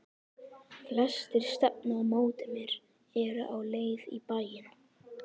Flestir stefna á móti mér, eru á leið í bæinn.